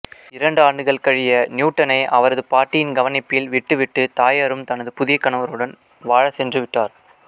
இரண்டு ஆண்டுகள் கழிய நியூட்டனை அவரது பாட்டியின் கவனிப்பில் விட்டுவிட்டு தாயாரும் தனது புதிய கணவருடன் வாழச் சென்றுவிட்டார்